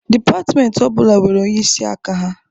Dịpatịmentị ọ bụla nwere onyeisi aka ya.